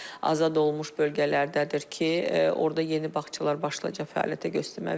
Azad olunmuş bölgələrdədir ki, orda yeni bağçalar başlayacaq fəaliyyətə göstərməyə.